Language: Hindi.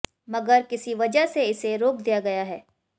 मगर किसी वजह से इसे रोक दिया गया है